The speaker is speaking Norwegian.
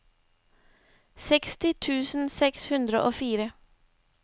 seksti tusen seks hundre og fire